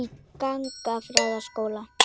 í gagnfræðaskóla.